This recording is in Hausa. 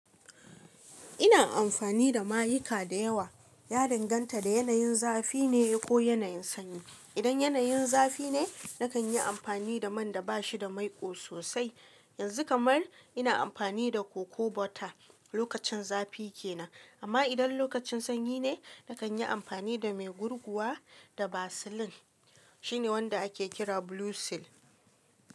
Ina amfani da mayika da yawa, ya danganta da yanayin zafi ne ko yanayin sanyi. Idan yanayin zafi ne, na kan yi amfani da man da ba shi da maiƙo sosai. Yanzu kamar ina amfani da coco butter lokacin zafi ke nan. Amma idan lokacin sanyi ne, na kan yi amfani da mai gurguwa da Vaseline. Shine wanda ake kira Blue Seal.